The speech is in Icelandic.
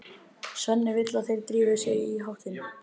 Svenni vill að þeir drífi sig í háttinn.